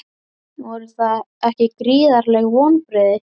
Voru það ekki gríðarleg vonbrigði?